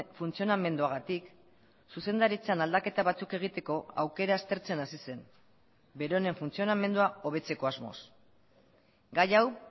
funtzionamenduagatik zuzendaritzan aldaketa batzuk egiteko aukera aztertzen hasi zen beronen funtzionamendua hobetzeko asmoz gai hau